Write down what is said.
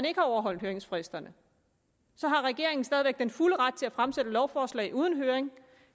ikke har overholdt høringsfristerne så har regeringen stadig væk den fulde ret til at fremsætte lovforslag uden høring